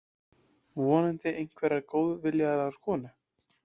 Vonandi einhverrar góðviljaðrar konu.